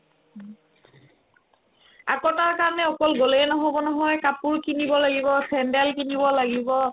আকৌ তাৰকাৰণে অকল গ'লেই নহ'ব নহয় কাপোৰ কিনিব লাগিব, চেণ্ডেল কিনিব লাগিব